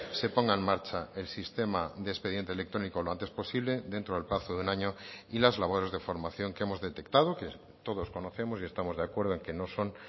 se ponga en marcha el sistema de expediente electrónico lo antes posible dentro del plazo de un año y las labores de formación que hemos detectado que todos conocemos y estamos de acuerdo en que no son